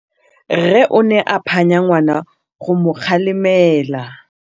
Rre o ne a phanya ngwana go mo galemela.